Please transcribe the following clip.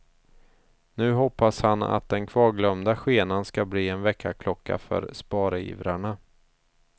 Nu hoppas han att den kvarglömda skenan ska bli en väckarklocka för sparivrarna.